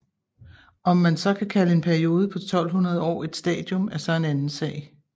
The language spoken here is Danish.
Om man så kan kalde en periode på 1200 år et stadium er så en anden sag